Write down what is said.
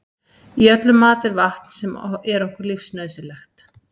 Í öllum mat er vatn sem er okkur lífsnauðsynlegt.